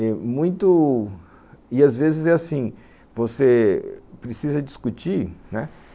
Muito... E às vezes é assim, você precisa discutir, né?